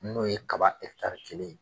N'o ye kaba kelen ye.